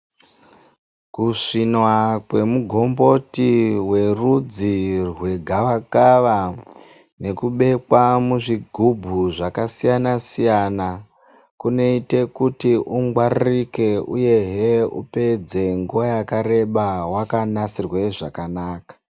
Kusvinwa kwemugomboti werudzi rwegavakava nekubekwa muzvigubhu zvakasiyana siyana kunoite kuti ungwaririke uyehe upedze nguva yakareba wakanasirwe zvakanaka.